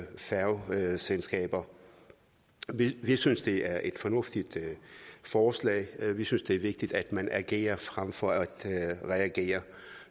færgeselskaber vi synes det er et fornuftigt forslag vi synes det er vigtigt at man agerer frem for at reagere